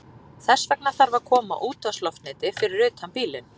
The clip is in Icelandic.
Þess vegna þarf að koma útvarpsloftneti fyrir utan bílinn.